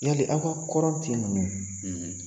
Yali aw ka kɔrɔn ti ninnu